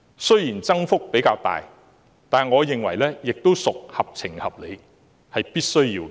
雖然增幅較大，但我認為亦屬合情合理，是必須要的。